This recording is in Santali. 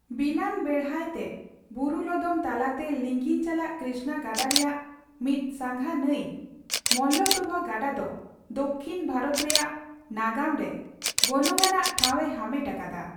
ᱵᱤᱞᱟᱹᱱ ᱵᱮᱲᱦᱟᱭ ᱛᱮ ᱵᱩᱨᱩ ᱞᱚᱫᱚᱢ ᱛᱟᱞᱟᱛᱮ ᱞᱤᱸᱜᱤᱱ ᱪᱟᱞᱟᱜ ᱠᱨᱤᱥᱱᱟ ᱜᱟᱰᱟ ᱨᱮᱭᱟᱜ ᱢᱤᱫ ᱥᱟᱸᱜᱟ ᱱᱟᱹᱭ ᱢᱚᱞᱞᱚᱯᱨᱚᱵᱷᱟ ᱜᱟᱰᱟ ᱫᱚ ᱫᱚᱠᱷᱤᱱ ᱵᱷᱟᱨᱚᱛ ᱨᱮᱭᱟᱜ ᱱᱟᱜᱟᱢᱨᱮ ᱜᱚᱱᱚᱝᱟᱱᱟᱜ ᱴᱷᱟᱣᱮ ᱦᱟᱢᱮᱴ ᱟᱠᱟᱫᱟ ᱾